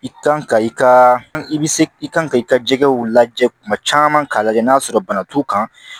I kan ka i ka i bɛ se i kan ka i ka jɛgɛw lajɛ kuma caman k'a lajɛ n'a sɔrɔ bana t'u kan